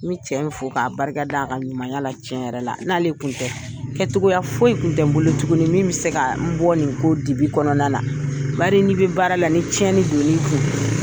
N bi cɛ in fo k'a barika da, a ka ɲuman ya la. Tiɲɛ yɛrɛ la n'ale tun tɛ kɛ cogoya foyi tun tɛ n bolo tuguni min bɛ se ka n bɔ nin ko dibi kɔnɔna na . Bari ni bɛ baara la ni tiɲɛni don n'i kun